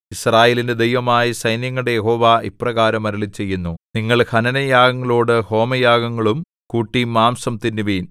യിസ്രായേലിന്റെ ദൈവമായ സൈന്യങ്ങളുടെ യഹോവ ഇപ്രകാരം അരുളിച്ചെയ്യുന്നു നിങ്ങൾ ഹനനയാഗങ്ങളോടു ഹോമയാഗങ്ങളും കൂട്ടി മാംസം തിന്നുവിൻ